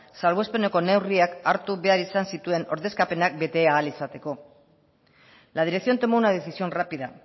salbuespeneko neurriak hartu behar izan zituen ordezkapenak bete ahal izateko la dirección tomó una decisión rápida